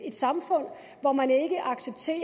et samfund hvor man ikke accepterer